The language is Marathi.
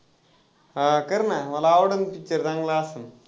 हा कर ना मला picture चांगला असलं.